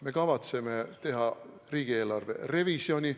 Me kavatseme teha riigieelarve revisjoni.